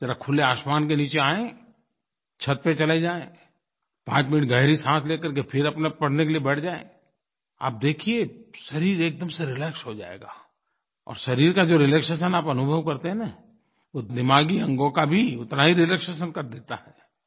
ज़रा खुले आसमान के नीचे आएँ छत पर चले जाएँ पांच मिनट गहरी साँस ले करके फिर अपने पढ़ने के लिए बैठ जाएँ आप देखिए शरीर एक दम से रिलैक्स हो जाएगा और शरीर का जो रिलैक्सेशन आप अनुभव करते हैं न वो दिमागी अंगों का भी उतना ही रिलैक्सेशन कर देता है